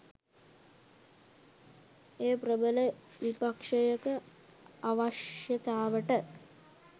එය ප්‍රබල විපක්ෂයක අවශ්‍යතාවට